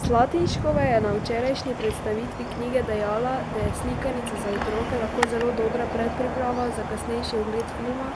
Slatinškova je na včerajšnji predstavitvi knjige dejala, da je slikanica za otroke lahko zelo dobra predpriprava za kasnejši ogled filma,